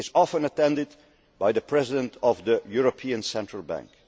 Affairs. It is often attended by the President of the European Central